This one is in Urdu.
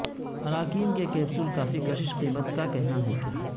اراکین کہ کیپسول کافی کشش قیمت کا کہنا ہے کہ